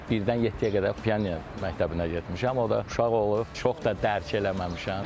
Birdən yeddiyə qədər piano məktəbinə getmişəm, o da uşaq olub, çox da dərk eləməmişəm.